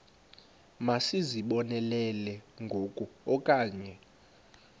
masizibonelele ngoku okanye